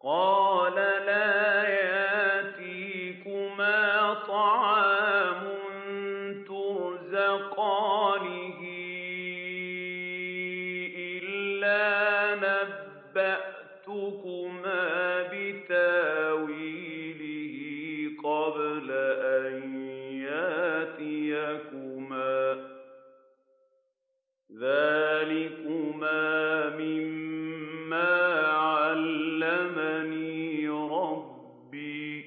قَالَ لَا يَأْتِيكُمَا طَعَامٌ تُرْزَقَانِهِ إِلَّا نَبَّأْتُكُمَا بِتَأْوِيلِهِ قَبْلَ أَن يَأْتِيَكُمَا ۚ ذَٰلِكُمَا مِمَّا عَلَّمَنِي رَبِّي ۚ